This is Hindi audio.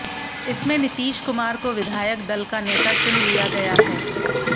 इसमें नीतीश कुमार को विधायक दल का नेता चुन लिया गया है